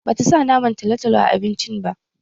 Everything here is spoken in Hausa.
Bata sa naman talotalo a abincin ba